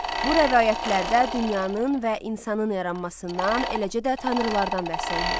Bu rəvayətlərdə dünyanın və insanın yaranmasından, eləcə də tanrılardan bəhs olunur.